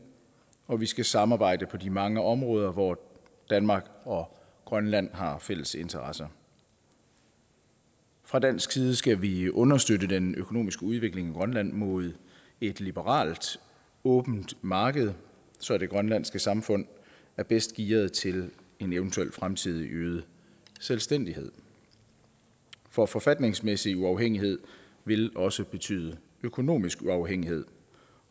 og vi skal samarbejde på de mange områder hvor danmark og grønland har fælles interesser fra dansk side skal vi understøtte den økonomiske udvikling i grønland mod et liberalt åbent marked så det grønlandske samfund er bedst gearet til en eventuel fremtidig øget selvstændighed for forfatningsmæssig uafhængighed vil også betyde økonomisk uafhængighed